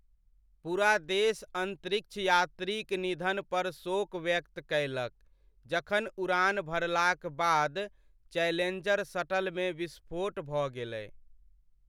पूरा देश अंतरिक्ष यात्री क निधन पर शोक व्यक्त कएलक जखन उड़ान भरलाक बाद चैलेंजर शटलमे विस्फोट भऽ गेलै ।